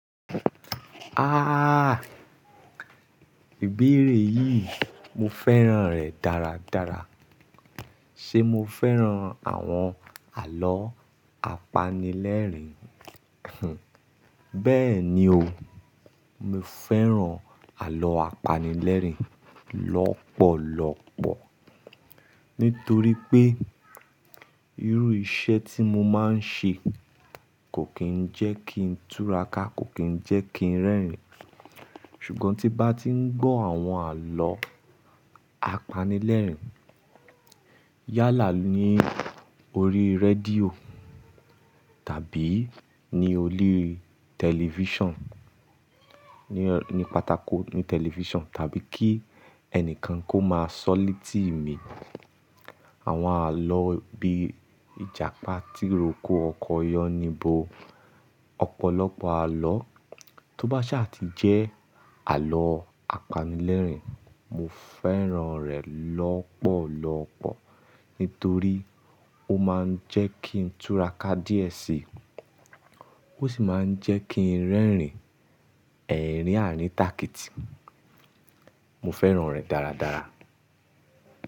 Ah! Ìbéèrè yìí mo fẹ́ràn rẹ̀ dáradára. Ṣé mo fẹ́ràn àwọn àlọ́ apanilẹ́rìn? Hun, bẹ́ẹ̀ni o, mo fẹ́ràn àlọ́ apanilẹ́rìn lọ́pọ̀lọ́pọ̀ nítorí pé irú iṣẹ́ tí mo máa ń ṣe kò kí ń jẹ́ kí n túraka, kò kí ń jẹ́ kí ń rẹ́rìn. Ṣùgbọ́n tí bá ti ń gbọ́ àwọn àlọ́ apanilẹ́rìn yálà ní orí rédíò tàbí ní orí tẹlifíṣàn, ní, ní pàtàkò, ní tẹlifíṣàn tàbí kí ẹnìkan kó máa sọ ọ́ létí mi àwọn àlọ́ bí ìjàpá tí roko ọkọ Yáníbo, ọ̀pọ̀lọpọ̀ àlọ́ tó bá sì à ti jẹ́ àlọ́ apanilẹ́rìn mo fẹ́ràn rẹ̀ lọ́pọ̀lọ́pọ̀ nítorí ó máa ń jẹ́ kí n túraka díẹ̀ síi, ó sì máa ń jẹ́ kí ń rẹ́rìn ẹ̀rín àrïnàkìtì. Mo fẹ́ràn rẹ̀ dáradára.